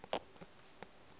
o a a galala ga